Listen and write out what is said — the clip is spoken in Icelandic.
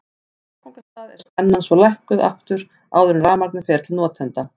Á áfangastað er spennan svo lækkuð aftur áður en rafmagnið fer til notenda.